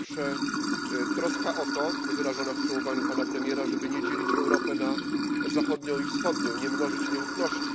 Po pierwsze, troska o to wyrażona w przemówieniu pana premiera żeby nie dzielić Europy na zachodnią i wschodnią, nie mnożyć nieufności.